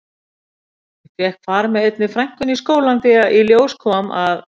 Ég fékk far með einni frænkunni í skólann því í ljós kom að